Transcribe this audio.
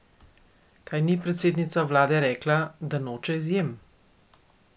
Kaj ni predsednica vlade rekla, da noče izjem?